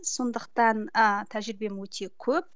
сондықтан ы тәжірибем өте көп